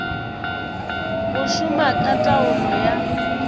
go šoma ka taolo ya